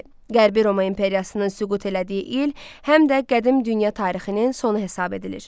Qərbi Roma İmperiyasının süqut elədiyi il, həm də Qədim Dünya tarixinin sonu hesab edilir.